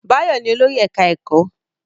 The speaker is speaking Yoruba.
Báyọ̀ ni olórí ẹ̀ká ẹ̀kọ́